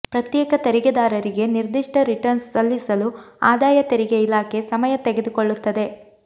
ಪ್ರತ್ಯೇಕ ತೆರಿಗೆದಾರರಿಗೆ ನಿರ್ದಿಷ್ಟ ರಿಟರ್ನ್ಸ್ ಸಲ್ಲಿಸಲು ಆದಾಯ ತೆರಿಗೆ ಇಲಾಖೆ ಸಮಯ ತೆಗೆದುಕೊಳ್ಳುತ್ತದೆ